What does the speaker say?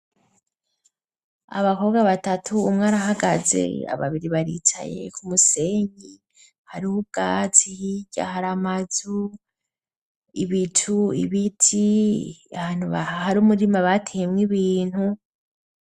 Abakobwa batatu umwe arahagaze, babiri baricaye ku umusenyi hariho ubwatsi, hirya hari amazu, ibicu, ibiti, ahantu hari umurima bateyemwo ibintu.